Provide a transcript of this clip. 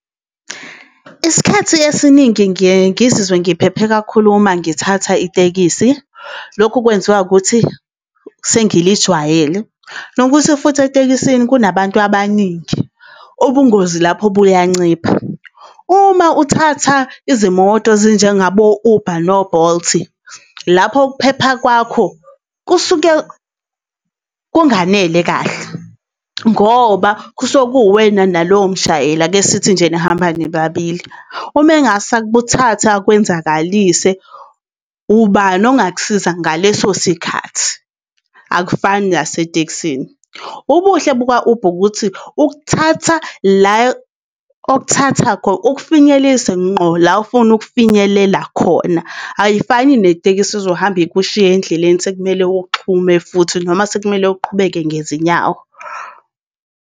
Isikhathi esiningi ngiye ngizizwe ngiphephe kakhulu uma ngithatha itekisi. Lokhu kwenziwa ukuthi sengilijwayele, nokuthi futhi etekisini kunabantu abaningi, ubungozi lapho buyancipha. Uma uthatha izimoto ezinjengabo, Uber no-Bolt, lapho ukuphepha kwakho kusuke kunganele kahle, ngoba kusuke kuwena nalowo mshayeli ake sithi nje nihamba nibabili, Uma engase akuthathe akwenzakalise, ubani ongakusiza ngaleso sikhathi, akufani nasetekisini. Ubuhle buka-Uber, ukuthi ukuthatha la okuthatha , ukufinyelelise ngqo la ofuna ukufinyelela khona, ayifani netekisi ezohamba ikushiya endleleni sekumele uxhume futhi noma sekumele uqhubeke ngezinyawo.